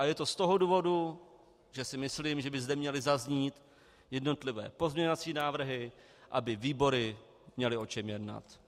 A je to z toho důvodu, že si myslím, že by zde měly zaznít jednotlivé pozměňovací návrhy, aby výbory měly o čem jednat.